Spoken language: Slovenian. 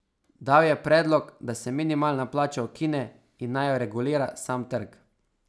Dal je predlog, da se minimalna plača ukine in naj jo regulira sam trg.